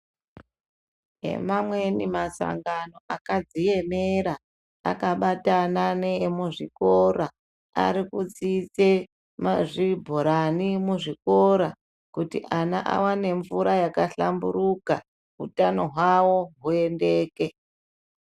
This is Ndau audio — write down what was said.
Nemamweni masangano akadziemera akabatana neemuzvikora arikutsise mazvibhurani muzvikora kuti ana awane mvura yakahlamburika utano hwavo huyendeke.